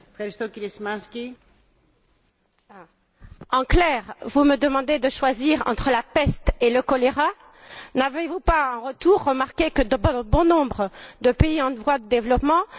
Madame la Présidente, en clair, vous me demandez de choisir entre la peste et le choléra? N'avez vous pas, en retour, remarqué que, dans bon nombre de pays en voie de développement, il n'y a pas d'eau?